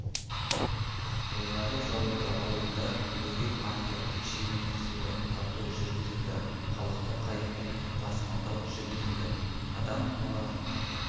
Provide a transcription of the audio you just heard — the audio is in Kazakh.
былғары зауыты ауылында бөгет арқылы текше метр суды тарту жүргізілді халықты қайықпен тасымалдау жүргізілді адам олардың